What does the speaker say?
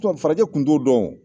farajɛ tun' t'o dɔn!